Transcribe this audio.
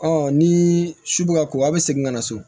ni su bɛ ka ko a bɛ segin ka na so